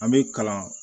An bɛ kalan